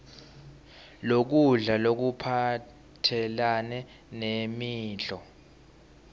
lokudla lokuphathelane nemidlo